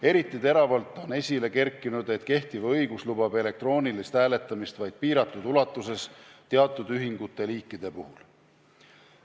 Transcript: Eriti teravalt on esile kerkinud, et kehtiv õigus lubab elektroonilist hääletamist vaid piiratud ulatuses teatud liiki ühingute puhul.